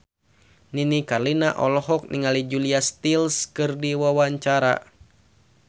Nini Carlina olohok ningali Julia Stiles keur diwawancara